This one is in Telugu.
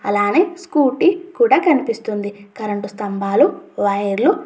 అలానే స్కూటీ కూడా కనిపిస్తుంది. కరెంటు స్తంభాలు వైర్ లు --